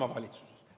Loomulikult Isamaa.